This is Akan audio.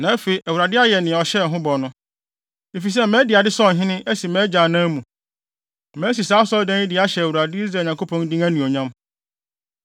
“Na afei Awurade ayɛ nea ɔhyɛɛ ho bɔ no, efisɛ efisɛ madi ade sɛ ɔhene, asi mʼagya anan mu. Masi saa Asɔredan yi de ahyɛ Awurade, Israel Nyankopɔn din anuonyam.